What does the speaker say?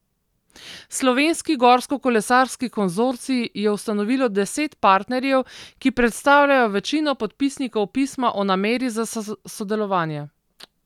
Slovenski gorskokolesarski konzorcij je ustanovilo deset partnerjev, ki predstavljajo večino podpisnikov pisma o nameri za sodelovanje.